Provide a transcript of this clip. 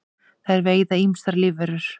þær veiða ýmsar lífverur